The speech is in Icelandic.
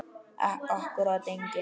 Akkúrat enginn.